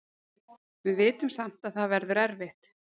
Við vitum samt að það verður erfitt.